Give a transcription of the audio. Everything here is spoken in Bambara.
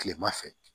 Kilema fɛ